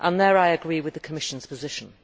There I agree with the Commission's position.